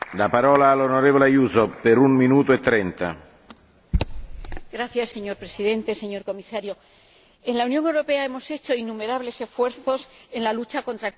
Señor Presidente, señor Comisario, en la Unión Europea hemos hecho innumerables esfuerzos en la lucha contra el cambio climático, tanto en las conferencias de las partes como en nuestras políticas internas.